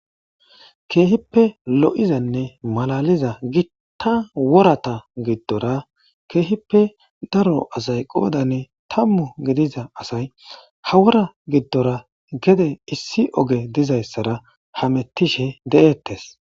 keehippe lo7izanne malaliza gitta worata giddora keehippe daro asay qoodane tammu gediza asay hawora giddora gede issi oge dizayssara hamettishe de7ettes